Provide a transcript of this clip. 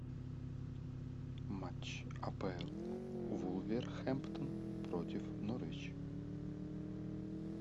матч апл вулверхэмптон против норвич